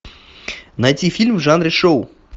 найти фильм в жанре шоу